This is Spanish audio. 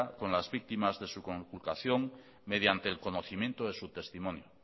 con las víctimas de su computación mediante el conocimiento de su testimonio